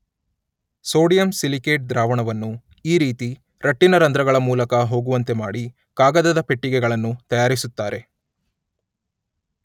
Sodium silicate ದ್ರಾವಣವನ್ನು ಈ ರೀತಿ ರಟ್ಟಿನ ರಂಧ್ರಗಳ ಮೂಲಕ ಹೋಗುವಂತೆ ಮಾಡಿ ಕಾಗದದ ಪೆಟ್ಟಿಗೆಗಳನ್ನು ತಯಾರಿಸುತ್ತಾರೆ.